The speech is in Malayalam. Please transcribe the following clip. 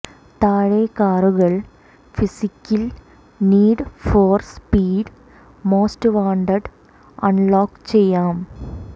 താഴെ കാറുകൾ പിസിക്കിൽ Need for Speed Most Wanted unlock ചെയ്യാം